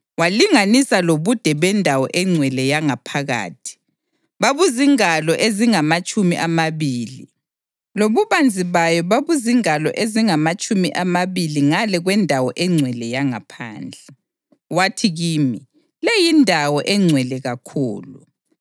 Walinganisa lobude bendawo engcwele yangaphakathi; babuzingalo ezingamatshumi amabili; lobubanzi bayo babuzingalo ezingamatshumi amabili ngale kwendawo engcwele yangaphandle. Wathi kimi, “Le yindawo eNgcwele kakhulu.”